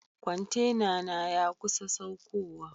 Kwantenana ya kusa saukowa.